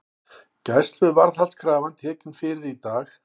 Gæsluvarðhaldskrafa tekin fyrir í dag